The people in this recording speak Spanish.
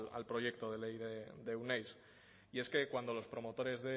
al proyecto de ley de euneiz y es que cuando los promotores